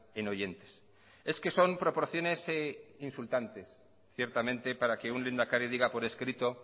en oyentes es que son proporciones insultantes ciertamente para que un lehendakari diga por escrito